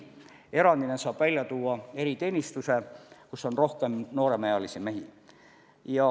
Erandina saab välja tuua eriteenistuse, kus on rohkem nooremaealisi mehi.